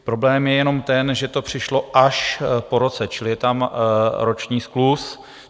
Problém je jenom ten, že to přišlo až po roce, čili je tam roční skluz.